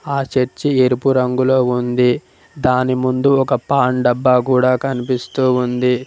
ఆ చర్చి ఎరుపు రంగులో ఉంది దాని ముందు ఒక పాన్ డబ్బా కూడా కనిపిస్తూ ఉంది.